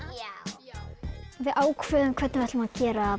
þeim já við ákváðum hvernig við ætluðum